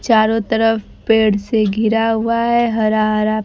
चारों तरफ पेड़ से घिरा हुआ है हरा हरा--